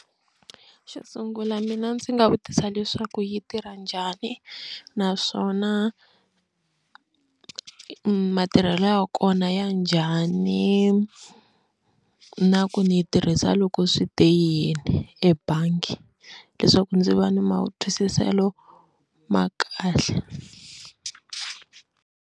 Xo sungula mina ndzi nga vutisa leswaku yi tirha njhani naswona matirhelo ya kona ya njhani na ku ni yi tirhisa loko swi te yini ebangi leswaku ndzi va ni matwisiselo ma kahle.